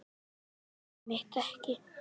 Já, einmitt ekki.